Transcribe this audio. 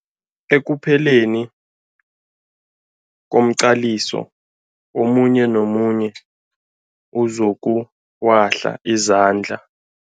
Ekupheleni komqaliso omunye nomunye uzokuwahla izandla.